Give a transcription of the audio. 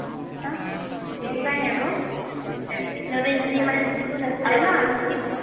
আ' সেইটো কাৰণে আকৌ সিহতি, সিহতি ইমান শিক্ষিত নাছিলে না শিক্ষিত